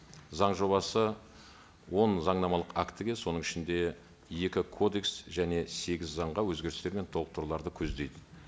заң жобасы он заңнамалық актіге соның ішінде екі кодекс және сегіз заңға өзгерістер мен толықтыруларды көздейді